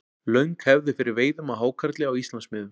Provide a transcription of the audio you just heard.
löng hefð er fyrir veiðum á hákarli á íslandsmiðum